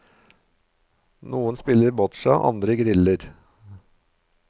Noen spiller botsja, andre griller.